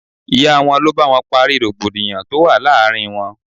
Ìyá wọn ló bá wọn parí rògbòdìyàn tó wà láàárín wọn.